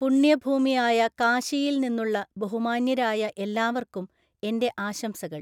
പുണ്യഭൂമിയായ കാശിയില്‍ നിന്നുള്ള ബഹുമാന്യരായ എല്ലാവര്‍ക്കും എന്‍റെ ആശംസകള്‍!